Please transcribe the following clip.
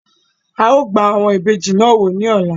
Áà ó gbà àwọn ìbejì náà wò ní ọ̀la